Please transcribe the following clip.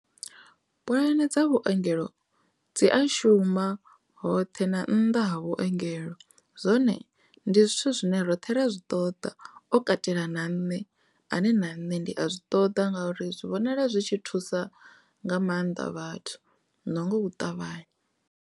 Puḽane dza vhuongelo dzi a shuma hoṱhe na nnḓa ha vhuengelo zwone ndi zwithu zwine roṱhe ra zwi ṱoḓa o katela na nṋe ane na nṋe ndi a zwi ṱoḓa nga uri zwi vhonala zwi tshi thusa nga maanḓa vhathu na nga u ṱavhanya.